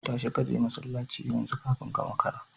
Tashi kaje masallaci yanzu kafin ka makara